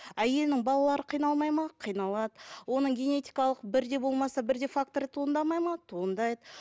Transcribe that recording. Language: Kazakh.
әйелінің балалары қиналмайды ма қиналады оның генетикалық бірде болмаса бірде факторы туындамайды ма туындайды